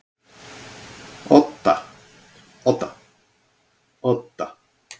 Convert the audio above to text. Odda